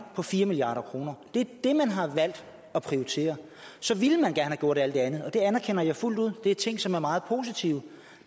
på fire milliard kroner det er det man har valgt at prioritere så ville man gerne have gjort alt det andet og det anerkender jeg fuldt ud det er ting som er meget positive